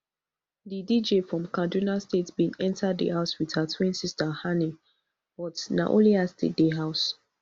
di dj from kaduna state bin enta di house wit her twin sister hanni but na only her still dey house